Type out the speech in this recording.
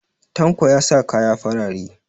Tanko ya sa kaya farare